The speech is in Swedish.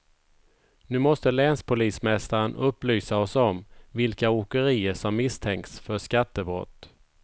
Nu måste länspolismästaren upplysa oss om vilka åkerier som misstänks för skattebrott.